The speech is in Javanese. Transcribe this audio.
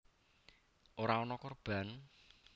Ora ana korban